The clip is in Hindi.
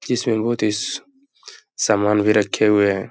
समान भी रखे हुए हैं।